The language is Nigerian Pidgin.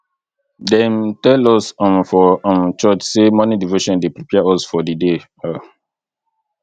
dem tell us um for um church sey morning devotion dey prepare us for di day um